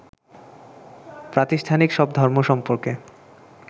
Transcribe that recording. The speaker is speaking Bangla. প্রাতিষ্ঠানিক সব ধর্ম সম্পর্কে